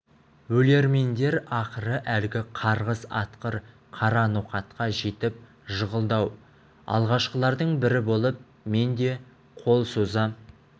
өлермендер ақыры әлгі қарғыс атқыр қара ноқатқа жетіп жығылды-ау алғашқылардың бірі болып мен де қол соза